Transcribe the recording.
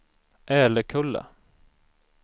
Älekulla